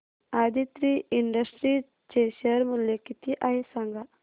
Aditri Industries चे share मूल्य किती आहे सांगा